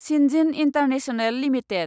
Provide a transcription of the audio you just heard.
सिन्जिन international limited